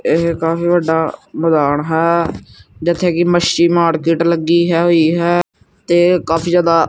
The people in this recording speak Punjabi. ਏਹ ਕਾਫੀ ਵੱਡਾ ਮੈਦਾਨ ਹੈ ਜਿੱਥੇ ਕੀ ਮੱਛੀ ਮਾਰਕੇਟ ਲੱਗੀ ਹੋਈ ਹੈ ਤੇ ਕਾਫੀ ਜਿਆਦਾ--